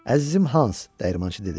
Əzizim Hans, dəyirmançı dedi.